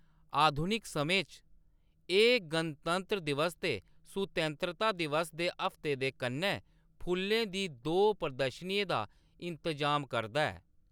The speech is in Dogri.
आधुनिक समें च एह्‌‌ गणतंत्र दिवस ते सुतैंत्रता दिवस दे हफ्ते दे कन्नै फुल्लेंं दी दो प्रदर्शनियें दा इंतजाम करदा ऐ।